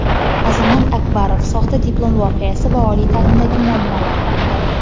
Azamat Akbarov — "soxta diplom" voqeasi va oliy ta’limdagi muammolar haqida.